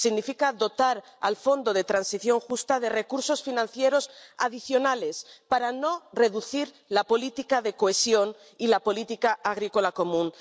Significa dotar al fondo de transición justa de recursos financieros adicionales para no reducir la política de cohesión y la política agrícola común